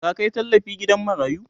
ka Kai tallafi gidan marayu?